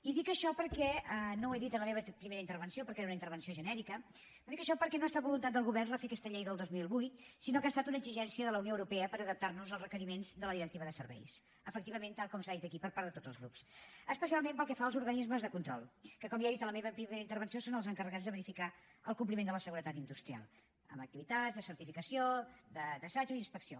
i dic això perquè no ho he dit en la meva primera intervenció perquè era una intervenció genèrica no ha estat voluntat del govern refer aquesta llei del dos mil vuit sinó que ha estat una exigència de la unió europea per adaptar nos als requeriments de la directiva de serveis efectivament tal com s’ha dit aquí per part de tots els grups especialment pel que fa als organismes de control que com ja he dit en la meva primera intervenció són els encarregats de verificar el compliment de la seguretat industrial amb activitats de certificació d’assajos i inspecció